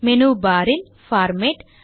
menu bar இல் format